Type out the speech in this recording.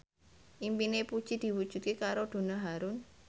impine Puji diwujudke karo Donna Harun